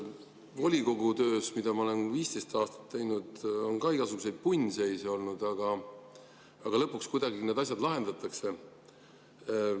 Volikogu töös, mida ma olen 15 aastat teinud, on ka igasuguseid punnseise olnud, aga lõpuks kuidagi need asjad lahendatakse.